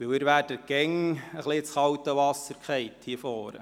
Sie werden hier vorne immer etwas ins kalte Wasser geworfen.